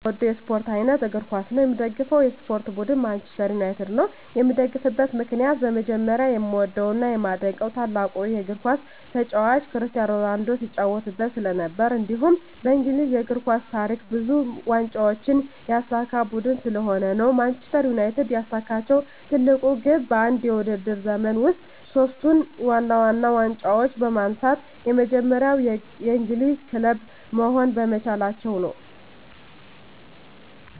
በጣም የምዎደው የስፖርት አይነት እግር ኳስ ነው። የምደግፈው የስፖርት ቡድን ማንችስተር ዩናይትድ ነው። የምደግፍበት ምክንያት በመጀመሪያ የምዎደው እና የማደንቀው ታላቁ የግር ኳስ ተጫዋች ክርስቲያኖ ሮናልዶ ሲጫዎትበት ስለነበር። እንዲሁም በእንግሊዝ የእግር ኳስ ታሪክ ብዙ ዋንጫዎችን ያሳካ ቡድን ስለሆነ ነው። ማንችስተር ዩናይትድ ያሳካችው ትልቁ ግብ በአንድ የውድድር ዘመን ውስጥ ሶስቱን ዋና ዋና ዋንጫዎች በማንሳት የመጀመሪያው የእንግሊዝ ክለብ መሆን በመቻላቸው ነው።